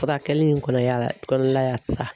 Furakɛli in kɔnɔya la kɔnɔlaya sa